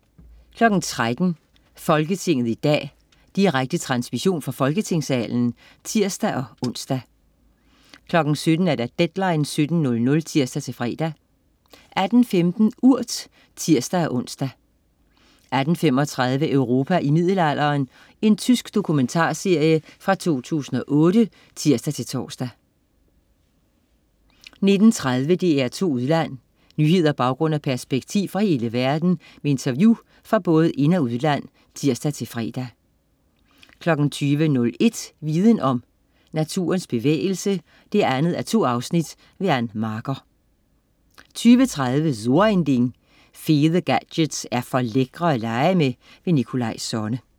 13.00 Folketinget i dag. Direkte transmission fra Folketingssalen (tirs-ons) 17.00 Deadline 17:00 (tirs-fre) 18.15 Urt (tirs-ons) 18.35 Europa i middelalderen. Tysk dokumentarserie fra 2008 (tirs-tors) 19.30 DR2 Udland. Nyheder, baggrund og perspektiv fra hele verden med interview fra både ind- og udland (tirs-fre) 20.01 Viden Om. Naturens bevægelse 2:2. Ann Marker 20.30 So ein Ding. Fede gadgets er for lækre at lege med. Nikolaj Sonne